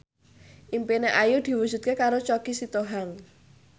impine Ayu diwujudke karo Choky Sitohang